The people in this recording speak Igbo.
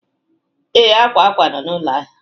Ee, akwa akwa nọ na ụlọ ahịa